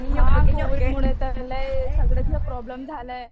हां कोविडमुळे तर लई सगळ्यांचा प्रॉब्लेम झालाय.